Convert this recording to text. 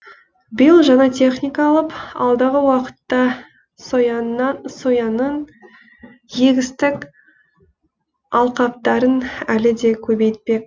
биыл жаңа техника алып алдағы уақытта сояның егістік алқаптарын әлі де көбейтпек